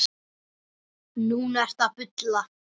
Núna ertu að bulla.